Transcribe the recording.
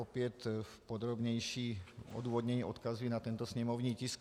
Opět v podrobnějším odůvodnění odkazuji na tento sněmovní tisk.